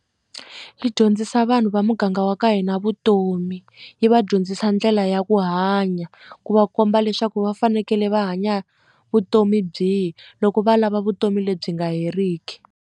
Yi dyondzisa vanhu va muganga wa ka hina vutomi yi vadyondzisa ndlela ya ku hanya ku va komba leswaku va fanekele va hanya vutomi byihi loko va lava vutomi lebyi nga heriki.